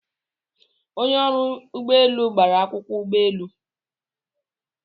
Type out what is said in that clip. Onye ọrụ ya ụgbọ elu gbara akwụkwọ ụgbọelu